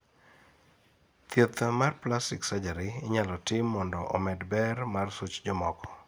thieth mar plastic surgery inyalo tim mondo omed ber mar such jomoko